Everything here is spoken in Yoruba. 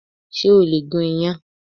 Ṣé o lè gún iyàn